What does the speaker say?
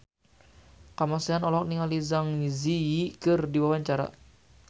Kamasean olohok ningali Zang Zi Yi keur diwawancara